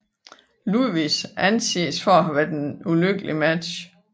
Luudvigs anses for at have været et ulykkeligt match